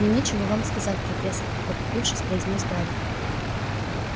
мне нечего вам сказать профессор потупившись произнёс гарри